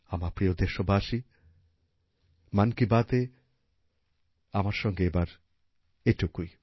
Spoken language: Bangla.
আমার প্রিয় দেশবাসী মন কী বাতে আমার সঙ্গে এবার এইটুকুই